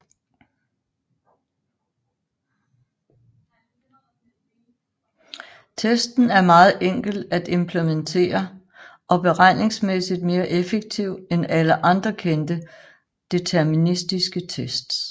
Testen er meget enkel at implementere og beregningsmæssigt mere effektiv end alle kendte deterministiske tests